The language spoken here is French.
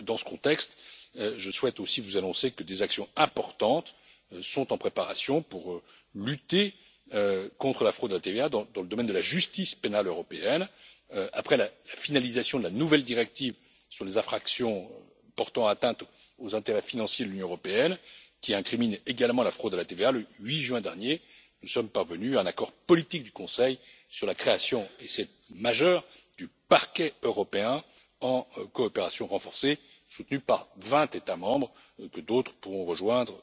Dans ce contexte, je souhaite aussi vous annoncer que des actions importantes sont en préparation pour lutter contre la fraude à la TVA, donc dans le domaine de la justice pénale européenne, après la finalisation de la nouvelle directive sur les infractions portant atteinte aux intérêts financiers de l'Union européenne, qui incrimine également la fraude à la TVA. Le 8 juin dernier, nous sommes parvenus à un accord politique du Conseil sur la création et c'est majeur du Parquet européen en coopération renforcée, soutenu par 20 États membres et que d'autres pourront rejoindre